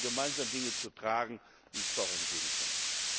gemeinsam Dinge zu tragen, hier nicht vorangehen können.